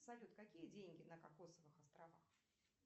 салют какие деньги на кокосовых островах